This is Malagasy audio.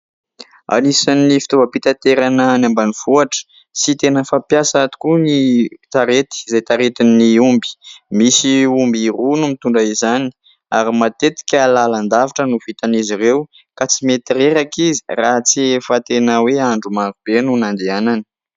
Anisan'ny fitaovam-pitaterana any ambanivohitra sy tena fampiasa tokoa ny sarety izay taritin'ny omby . Misy omby roa no mitondra izany ary matetika lalan-davitra no vitan' izy ireo ka tsy mety reraka izy raha tsy efa tena hoe andro marobe no nandehanany.